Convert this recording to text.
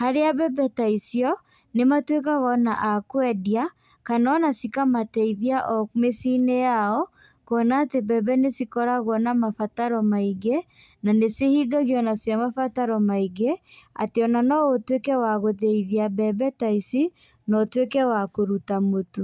harĩa mbembe ta icio, nĩmatuĩkaga ona a kwendia, kana ona cikamateithia o mĩciĩ-inĩ yao, kuona atĩ mbembe nĩcikoragwo na mabataro maingĩ, nanĩcihingagio onacio mabataro maingĩ, atĩ ona no ũtuĩke wa gũthĩithia mbembe ta ici, na ũtuĩke wa kũruta mũtu.